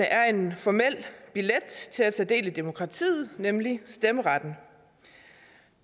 er en formel billet til at tage del i demokratiet nemlig stemmeretten